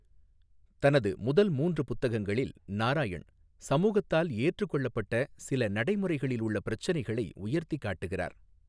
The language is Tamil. தனது முதல் மூன்று புத்தகங்களில், நாராயண் சமூகத்தால் ஏற்றுக்கொள்ளப்பட்ட சில நடைமுறைகளில் உள்ள பிரச்சினைகளை உயர்த்திக் காட்டுகிறார்.